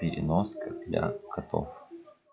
переноска для котов